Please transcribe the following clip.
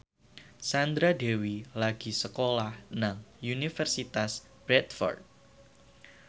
Sandra Dewi lagi sekolah nang Universitas Bradford